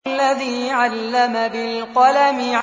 الَّذِي عَلَّمَ بِالْقَلَمِ